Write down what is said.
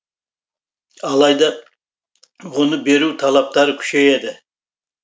алайда оны беру талаптары күшейеді